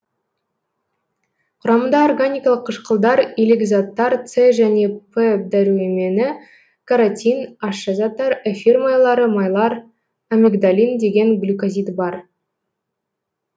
құрамында органикалық қышқылдар илік заттар с және р дәрумені каротин ащы заттар эфир майлары майлар амигдалин деген глюкозид бар